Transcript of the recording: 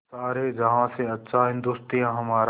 सारे जहाँ से अच्छा हिन्दोसिताँ हमारा